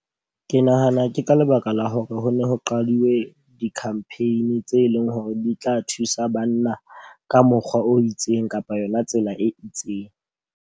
Ke nahana ke ka lebaka la hore ho ne ho qaduwe di-campaign tse leng hore di tla thusa banna ka mokgwa o itseng kapa yona tsela e itseng.